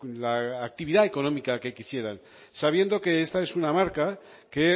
la actividad económica que quisieran sabiendo que esta es una marca que